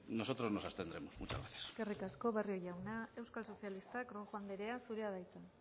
nosotros nos abstendremos muchas gracias eskerrik asko barrio jauna euskal sozialistak rojo anderea zurea da hitza